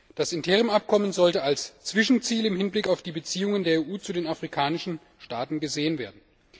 Das Interimsabkommen sollte als Zwischenziel im Hinblick auf die Beziehungen der EU zu den afrikanischen Staaten gesehen werden.